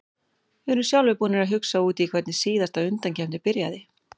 Við erum sjálfir búnir að hugsa út í hvernig síðasta undankeppni byrjaði.